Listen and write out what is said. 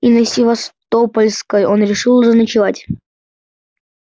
и на севастопольской он решил заночевать